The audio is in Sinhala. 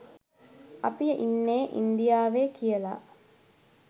අපි ඉන්නෙ ඉන්දියාවෙ කියලා